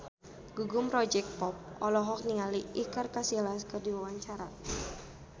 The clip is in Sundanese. Gugum Project Pop olohok ningali Iker Casillas keur diwawancara